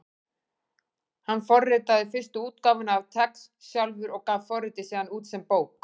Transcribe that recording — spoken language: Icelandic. Hann forritaði fyrstu útgáfuna af TeX sjálfur og gaf forritið síðan út sem bók.